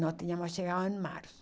Nós tínhamos chegado em março.